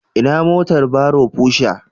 Ina motar barrow Pusher?